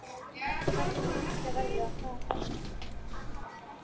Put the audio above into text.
Hverskonar manneskja verðurðu og hvaða ævistarf velurðu þér?